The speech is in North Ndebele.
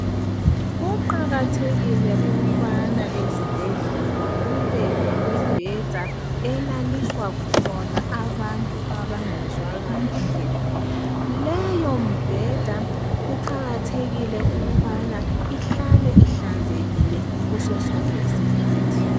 Kuqakathekile ukubana ezibhedlela kube lemibheda elaliswa khona abantu abangezwa kuhle. Leyo mbheda kuqakathekile ukubana ihlale ihlanzekile ngasosonke isikhathi.